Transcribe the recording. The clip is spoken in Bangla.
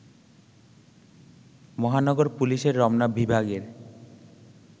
মহানগর পুলিশের রমনা বিভাগের